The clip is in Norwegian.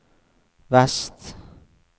vest